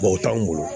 o t'anw bolo